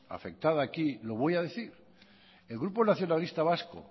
afectada aquí lo voy a decir el grupo nacionalista vasco